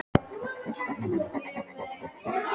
Sumarlína, hversu margir dagar fram að næsta fríi?